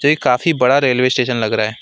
काफी बड़ा railway station लग रहा है।